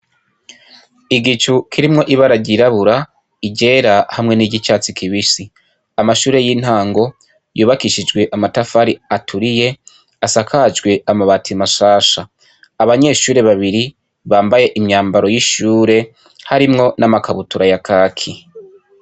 Igicu kirimwo ibara ryirabura iryera hamwe n'iryicatsi kibisi amashuri y'intango yubakishijwe amatafari aturiye asakajwe ama bati mashasha abanyeshuri babiri bambaye imyambaro yishuri harimwo n'amakabutura ya kaki.